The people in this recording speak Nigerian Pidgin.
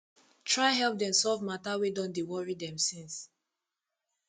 try help dem solve mata wey don dey wori dem since